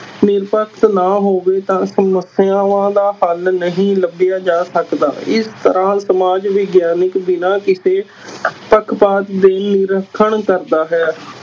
ਨਿਰਪੱਖ ਨਾ ਹੋਵੇ ਤਾਂ ਸਮੱਸਿਆਵਾਂ ਦਾ ਹੱਲ ਨਹੀਂ ਲੱਭਿਆ ਜਾ ਸਕਦਾ, ਇਸ ਤਰ੍ਹਾਂ ਸਮਾਜ ਵਿਗਆਨਕ ਬਿਨਾਂ ਕਿਸੇ ਪੱਖਪਾਤ ਦੇ ਨਿਰੀਖਣ ਕਰਦਾ ਹੈ